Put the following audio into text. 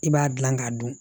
I b'a dilan k'a dun